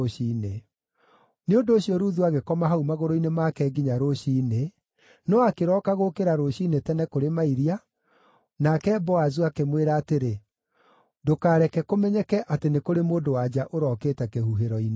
Nĩ ũndũ ũcio Ruthu agĩkoma hau magũrũ-inĩ make nginya rũciinĩ, no akĩroka gũũkĩra rũciinĩ tene kũrĩ mairia, nake Boazu akĩmwĩra atĩrĩ, “Ndũkareke kũmenyeke atĩ nĩ kũrĩ mũndũ-wa-nja ũrokĩte kĩhuhĩro-inĩ.”